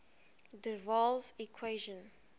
der waals equation